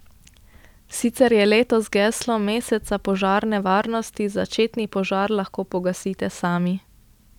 Sicer je letos geslo meseca požarne varnosti Začetni požar lahko pogasite sami.